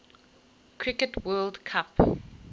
cricket world cup